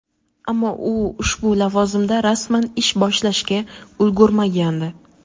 ammo u ushbu lavozimda rasman ish boshlashga ulgurmagandi.